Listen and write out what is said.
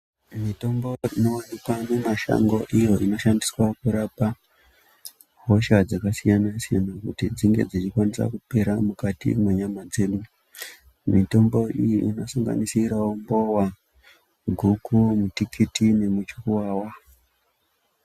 Mitombo ino wanikwa mumashango iyo ino shandiswa kurapa hosha dzakasiyana-siyana kuti dzinge dzechikwanisa kupera mukati mwenyama dzedu, mitombo iyi ino sanganisi rawo mbowa, guku, mutikiti nemu chukuwawa.